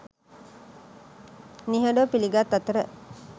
නිහඬව පිළිගත් අතර